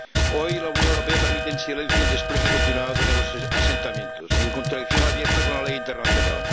Hoy, la Unión Europea permite en silencio el despliegue continuado de nuevos asentamientos, en contradicción abierta con la ley internacional.